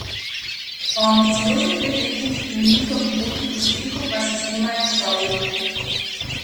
O ambicioznih dekletih in njihovi poti k uspehu pa se snemajo šovi!